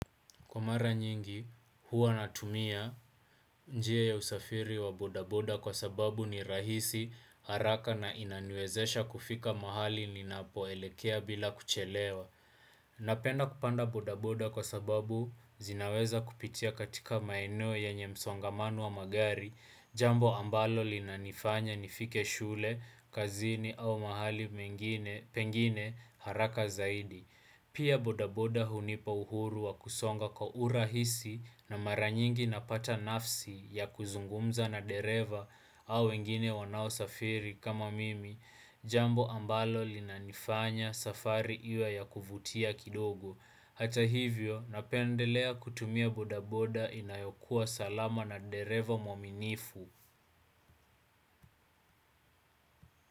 Kwa mara nyingi, huwa natumia njia ya usafiri wa bodaboda kwa sababu ni rahisi, haraka na inaniwezesha kufika mahali ninapoelekea bila kuchelewa. Napenda kupanda bodaboda kwa sababu zinaweza kupitia katika maeneo yenye msongamano wa magari, jambo ambalo linanifanya nifike shule, kazini au mahali pengine haraka zaidi. Pia bodaboda hunipa uhuru wa kusonga kwa urahisi na mara nyingi napata nafsi ya kuzungumza na dereva au wengine wanaosafiri kama mimi, jambo ambalo linanifanya safari iwe ya kuvutia kidogo. Hata hivyo, napendelea kutumia bodaboda inayokuwa salama na dereva mwaminifu.